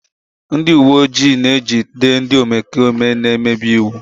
Ndị uwe ojii na-ejide ndị omekome na-emebi iwu.